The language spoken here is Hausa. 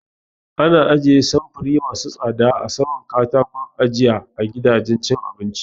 Ana ajiye samfuri masu tsada a saman kataƙon ajiya a gidajen cin abinci